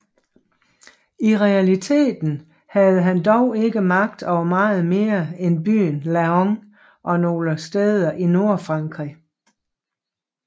I realiteten havde han dog ikke magt over meget mere end byen Laon og nogle steder i Nordfrankrig